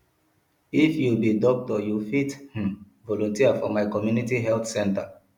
if you be doctor you fit um volunteer for my community health center